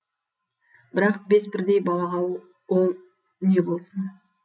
бірақ бес бірдей балаға ол не болсын